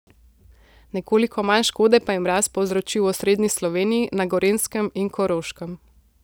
Nekoliko manj škode pa je mraz povzročil v osrednji Sloveniji, na Gorenjskem in Koroškem.